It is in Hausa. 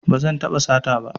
Ba zan taɓa sata ba